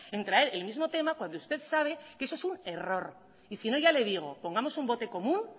en traer el mismo tema cuando usted sabe que eso es un error y sino ya le digo pongamos un bote común